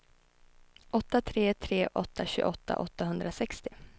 åtta tre tre åtta tjugoåtta åttahundrasextio